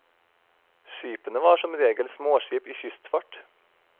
Skipene var som regel småskip i kystfart.